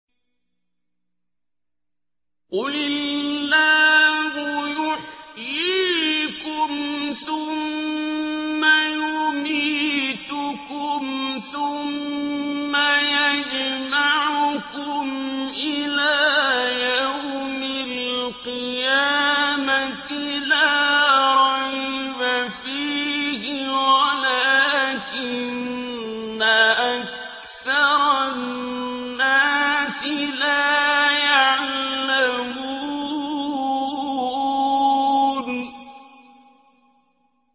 قُلِ اللَّهُ يُحْيِيكُمْ ثُمَّ يُمِيتُكُمْ ثُمَّ يَجْمَعُكُمْ إِلَىٰ يَوْمِ الْقِيَامَةِ لَا رَيْبَ فِيهِ وَلَٰكِنَّ أَكْثَرَ النَّاسِ لَا يَعْلَمُونَ